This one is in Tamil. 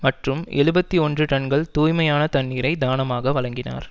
மற்றும் எழுபத்தி ஒன்று டன்கள் தூய்மையான தண்ணீரை தானமாக வழங்கினார்